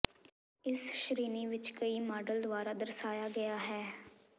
ਇਸ ਸ਼੍ਰੇਣੀ ਵਿੱਚ ਕਈ ਮਾਡਲ ਦੁਆਰਾ ਦਰਸਾਇਆ ਗਿਆ ਹੈ